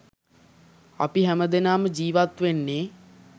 අපි හැමදෙනාම ජීවත් වෙන්නේ